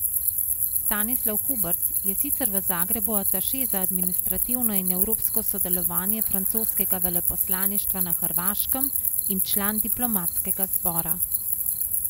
Stanislav Hubert je sicer v Zagrebu ataše za administrativno in evropsko sodelovanje francoskega veleposlaništva na Hrvaškem in član diplomatskega zbora.